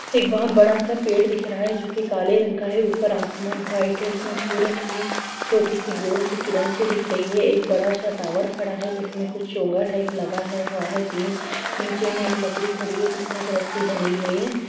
एक बहोत बड़ा सा पेड़ दिख रहा है जो की काले रंग का है ऊपर आसमान व्हाइट है । उसमे सूरज की छोटी सी गोल सी किरण सी दिख रही है। एक बड़ा सा टावर खड़ा है । जिसमे कुछ चोंगा टाइप लगा हुआ है । तीन नीचे में एक लकड़ी खड़ी है जिसमे एक रस्सी बंधी हुई है ।